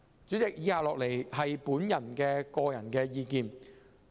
主席，以下是我的個人意見。